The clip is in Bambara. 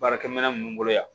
Baarakɛminɛn minnu bolo yan